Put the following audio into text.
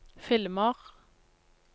filmer